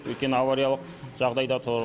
өйткені авариялық жағдайда тұр